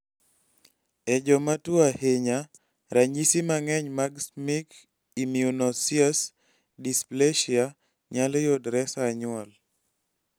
e jomatuwo ahinya, ranyisi mang'eny mag schimke immunoosseous dysplasia nyalo yudre sa nyuol